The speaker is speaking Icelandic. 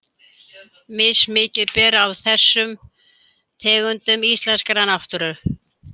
Mismikið ber á þessum tegundum í íslenskri náttúru.